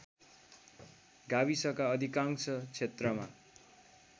गाविसका अधिकांश क्षेत्रमा